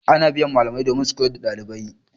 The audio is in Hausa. Ana biyan malamai domin su koyar da ɗalibai.